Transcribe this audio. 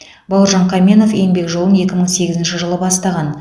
бауыржан қаменов еңбек жолын екі мың сегізінші жылы бастаған